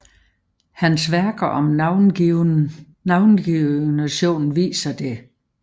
Hans værker om navigationen viser det